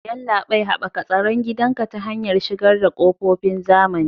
Yallabai, Haɓaka tsaron gidanka ta hanyar shigar da ƙofofin zamani.